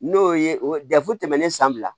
N'o ye o dɛfu tɛmɛnnen san fila la